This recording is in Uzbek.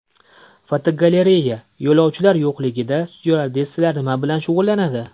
Fotogalereya: Yo‘lovchilar yo‘qligida styuardessalar nima bilan shug‘ullanadi?.